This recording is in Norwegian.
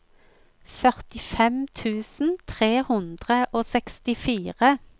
førtifem tusen tre hundre og sekstifire